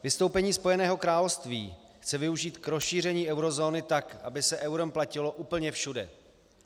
Vystoupení Spojeného království chce využít k rozšíření eurozóny tak, aby se eurem platilo úplně všude.